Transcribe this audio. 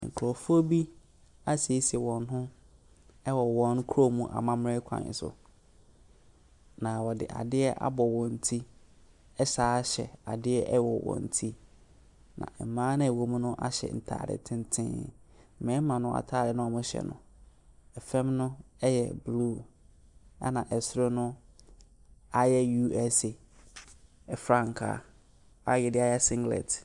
Nkorɔfoɔ bi esiesie wɔn ho ɛwɔ wɔn kurom amammerɛ kwan so. Na ɔde adeɛ abɔ wɔn ti ɛsan hyɛ adeɛ wɔ wɔn ti. Na mmaa naa ɔwo mu no ahyɛ ataade tenten. Mmarima no ntaade na wɔhyɛ no, ɛfam no yɛ blue ɛna ɛsoro no ayɛ USA frankaa a yɛdeayɛ singlet.